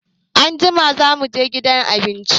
Anjima za mu gidan abinci.